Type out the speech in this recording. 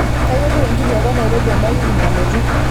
kayieu etiu enkajape e nairobi edawiki nalotu